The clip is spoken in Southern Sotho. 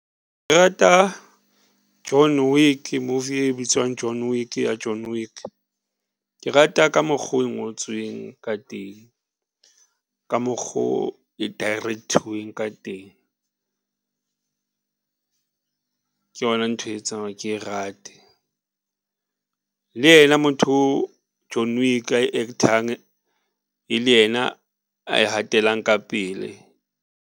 Ke rata John Wick movie e bitswang John Wick ya John Wick. Ke rata ka mokgo e ngotsweng ka teng ka mokgo e direct-thiweng ka teng ke yona ntho etsang hore ke e rate le yena motho o John Wick a act-ang e le yena a e hatelang ka pele.